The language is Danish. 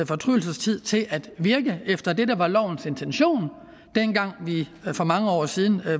fortrydelsestid til at virke efter det der var lovens intention dengang vi for mange år siden